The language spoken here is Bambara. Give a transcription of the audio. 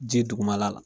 Ji dugumala la